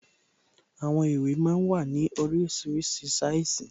Àwọn ìwé máa ń wà ní oríṣiríṣi sáìsì